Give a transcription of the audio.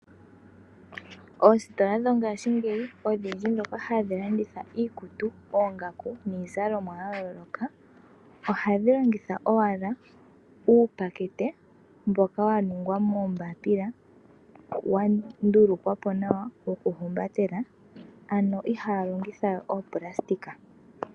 Oositola dhongashingeyi hadhi landitha iikutu, oongaku niizalomwa yayooloka ohadhi longitha owala uupakete mboka waningwa moombapila wandulukwapo nawa woku umbatela ano ihaya longitha oopulasitika.